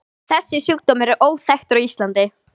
Þessi sjúkdómur er óþekktur á Íslandi.